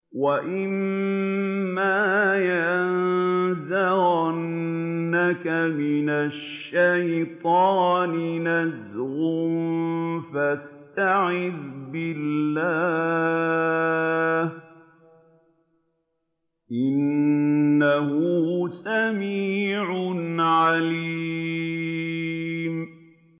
وَإِمَّا يَنزَغَنَّكَ مِنَ الشَّيْطَانِ نَزْغٌ فَاسْتَعِذْ بِاللَّهِ ۚ إِنَّهُ سَمِيعٌ عَلِيمٌ